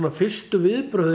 fyrstu viðbrögðin